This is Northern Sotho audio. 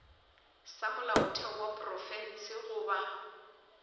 sa molaotheo wa profense goba